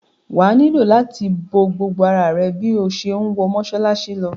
Wà á nílò láti bo gbogbo ara rẹ bí o ṣe ń wọ mọ́ṣáláṣí lọ.